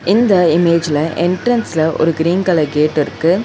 இந்த இமேஜ்ல என்ட்ரன்ஸ்ல ஒரு கிரீன் கலர் கேட்டிருக்கு .